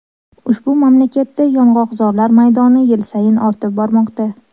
Ushbu mamlakatda yong‘oqzorlar maydoni yil sayin ortib bormoqda.